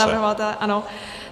Za navrhovatele, ano.